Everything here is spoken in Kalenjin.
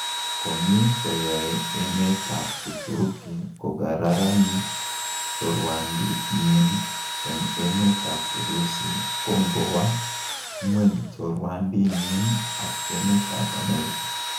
Komi koyoe emetab Uturuki kogararanit chorwandit inyin ak emetab Urusi, kongo wa ng'weny chorwandinyin ak emetab America.